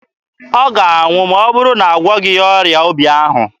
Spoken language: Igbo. Ọ ga-anwụ ma ọ bụrụ a gwọghị ọrịa obi ahụ.